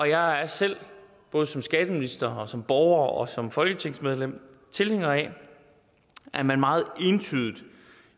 jeg er selv både som skatteminister som borger og som folketingsmedlem tilhænger af at man meget entydigt i